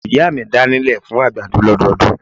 Ìyá mi da ní ilẹ̀ fún àgbàdo lọ́dọọdún.